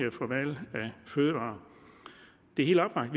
fødevarer det er helt oplagt